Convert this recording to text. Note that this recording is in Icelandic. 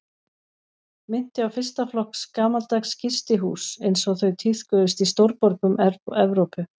Minnti á fyrsta flokks gamaldags gistihús einsog þau tíðkuðust í stórborgum Evrópu.